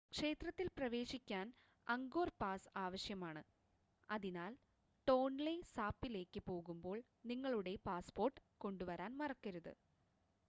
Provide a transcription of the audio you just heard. ക്ഷേത്രത്തിൽ പ്രവേശിക്കാൻ Angkor pass ആവശ്യമാണ് അതിനാൽ ടോൺലെ സാപ്പിലേക്ക് പോകുമ്പോൾ നിങ്ങളുടെ പാസ്‌പോർട്ട് കൊണ്ടുവരാൻ മറക്കരുത്